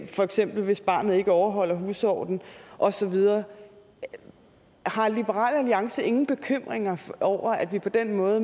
for eksempel hvis barnet ikke overholder husordenen og så videre har liberal alliance ingen bekymringer over at vi på den måde